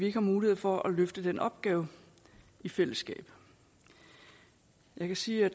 ikke har mulighed for at løfte den opgave i fællesskab jeg kan sige at